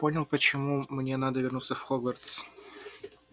понял почему мне надо вернуться в хогвартс